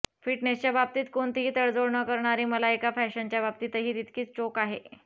फिटनेसच्या बाबतीत कोणतीही तडजोड न करणारी मलायका फॅशनच्या बाबतीतही तितकीच चोख आहे